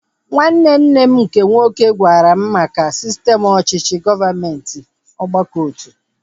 Nwanne nne m nke nwoke gwara m maka sistem ọchịchị gọọmenti ọgbakọotu